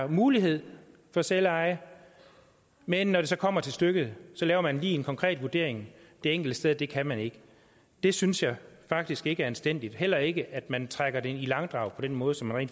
mulighed for selveje men når det så kommer til stykket laver man lige en konkret vurdering det enkelte sted af at det kan man ikke det synes jeg faktisk ikke er anstændigt heller ikke at man trækker det i langdrag på den måde som man